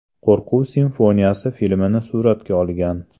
Qo‘rquv simfoniyasi” filmini suratga olgan.